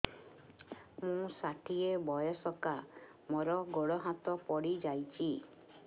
ମୁଁ ଷାଠିଏ ବୟସ୍କା ମୋର ଗୋଡ ହାତ ପଡିଯାଇଛି